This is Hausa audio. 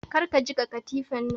Kar ka jiƙa katifan!